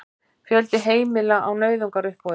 Fjöldi heimila á nauðungaruppboði